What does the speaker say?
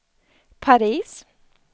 Paris